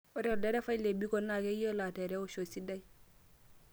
ore olderevai le Biko naa keyiolo atereusho esidai